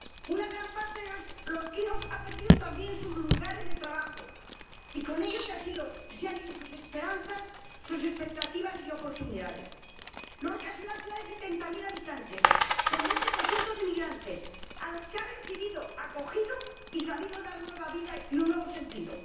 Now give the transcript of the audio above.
Una gran parte de los lorquinos ha perdido también sus lugares de trabajo y, con ello, se han ido sus esperanzas, sus expectativas y oportunidades. Lorca es una ciudad de setenta mil habitantes, con un 20 de emigrantes a los que ha recibido, acogido y sabido dar una nueva vida con un nuevo sentido.